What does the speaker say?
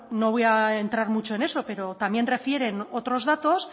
bueno no voy a entrar mucho en eso pero también refieren otros datos